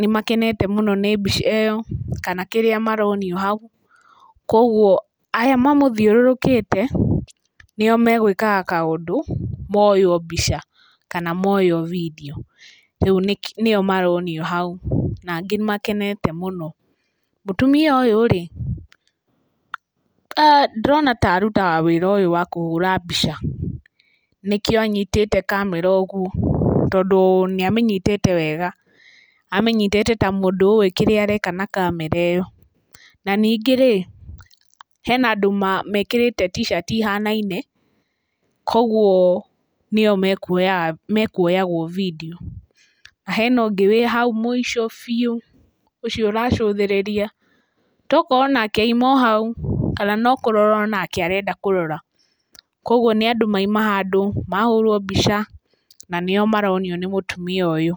Nĩmakenete mũno nĩ mbica ĩyo kana kĩrĩa maronio hau. Koguo aya mamũthiũrũrũkĩte nĩo magwĩkaga kaũndũ moywo mbica, kana moywo bindiũ, rĩu nĩyo maronio hau na angĩ nĩmakenete mũno. Mũtumia ũyũ rĩ ndĩrona ta arutaga wĩra ũyũ wa kũhũra mbica nĩkĩo anyitĩte kamera ũguo. Tondũ nĩamĩnyitĩte wega, amĩnyitĩte ta mũndũ ũwĩ kĩrĩa areka na kamera ĩyo. Na ningĩ rĩ, hena andũ mekĩrĩte t-shirt ihanaine, koguo nĩo mekuoyagwo bindiũ. Hena ũngĩ wĩ hau mũico biũ, ũcio ũracũthĩrĩria tokorwo onake auma o hau kana onake no kũrora o nake arenda kũrora. Koguo nĩ andũ mauma handũ mahũrwo mbica na nĩyo maronio nĩ mũtumia ũyũ.